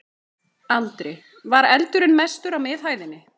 Andri: Var eldurinn mestur á miðhæðinni?